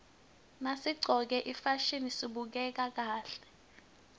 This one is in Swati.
nasiqcoke ifasihni sibukeka kahle